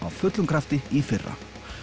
fullum krafti í fyrra